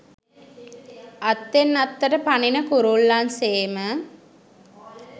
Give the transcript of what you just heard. අත්තෙන් අත්තට පනින කුරුල්ලන් සේම